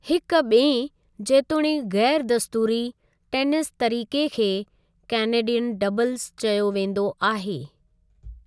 हिकु ॿिएं, जेतोणीकि ग़ैर दस्तूरी, टेनिस तरीक़े खे कैनेडियन डबल्स चयो वेंदो आहे।